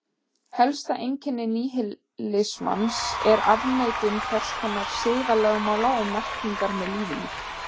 Helsta einkenni níhilismans er afneitun hvers konar siðalögmála og merkingar með lífinu.